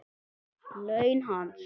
Laun hans?